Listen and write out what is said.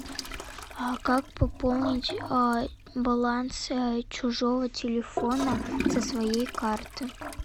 а как пополнить баланс чужого телефона со своей карты